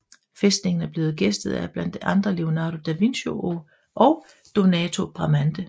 Fæstningen er blevet gæstet af blandt andre Leonardo da Vinci og Donato Bramante